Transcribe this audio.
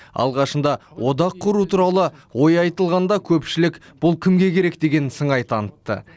алғашында одақ құру туралы ой айтылғанда көпшілік бұл кімге керек деген сыңай танытты